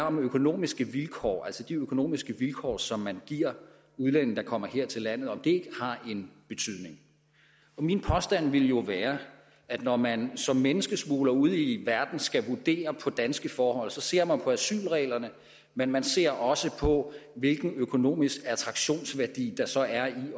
om økonomiske vilkår altså om de økonomiske vilkår som man giver udlændinge der kommer her til landet har en betydning min påstand vil jo være at når man som menneskesmugler ude i verden skal vurdere danske forhold så ser man på asylreglerne men man ser også på hvilken økonomisk attraktionsværdi der så er i